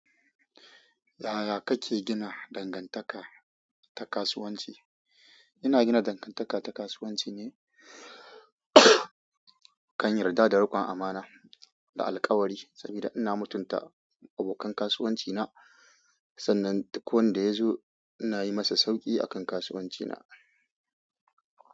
Yaya kake gina dangantaka ta kasuwanci? Ina gina dangantaka ta kasuwanci ne kan yarda da rikon amana da alkawari, saboda ina mutunta abokan kasuwanci na. Sannan duk wanda ya zo, ina yi masa sauki akan kasuwanci na.